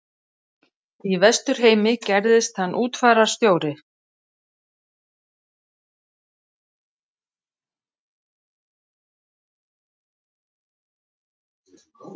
Í Vesturheimi gerðist hann útfararstjóri.